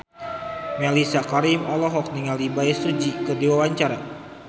Mellisa Karim olohok ningali Bae Su Ji keur diwawancara